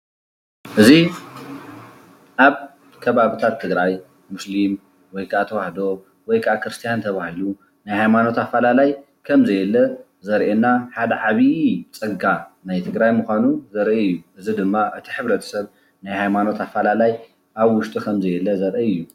እዚ አብ ከባቢታት ትግራይ ሙስሊም ወይ ካዓ ተዋህዶ ወይ ካዓ ክርስትያ ተባሂሉ ናይ ሃይማኖት አፈላላይ ከም ዘየለ ዘርእየና ሓደ ዓብይ ፀጋ ናይ ትግራይ ምኳኑ ዘርኢ እዩ፡፡ እዚ ድማ እቲ ሕብረተሰብ ናይ ሃይማኖት አፈላላይ አብ ውሽጢ ከምዘየለ ዘርኢ እዩ፡፡